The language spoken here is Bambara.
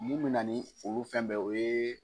Mun mina ni olu fɛn bɛɛ ye o ye